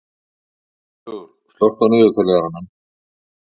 Guðlaugur, slökktu á niðurteljaranum.